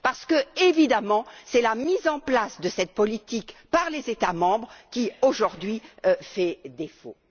Parce que, évidemment, c'est la mise en place de cette politique par les États membres qui, aujourd'hui, fait défaut.